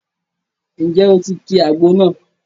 Ǹjẹ́ o ti ki àgbo náà?